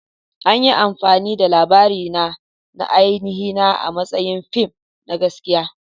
An yi amfani da labarina na ainihina a matsayin fim na gaskiya.